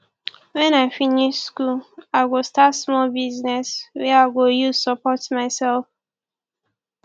wen i finish school i go start small business wey i go use support mysef